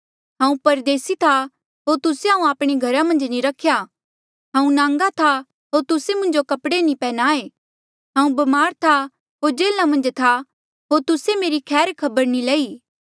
हांऊँ परदेसी था होर तुस्से हांऊँ आपणे घरा मन्झ नी रख्या हांऊँ नांगा था होर तुस्से मुंजो कपड़े नी पन्ह्याए हांऊँ ब्मार होर जेल्हा मन्झ था होर तुस्से मेरी खैर खबर नी लई